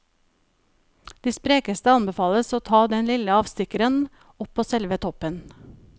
De sprekeste anbefales å ta den lille avstikkeren opp på selve toppen.